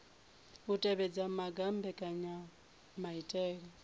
u tevhedza maga a mbekanyamaitele